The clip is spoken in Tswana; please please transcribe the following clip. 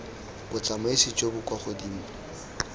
botsamaisi jo bo kwa godimo